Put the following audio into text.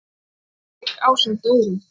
Skarðsvík ásamt öðrum.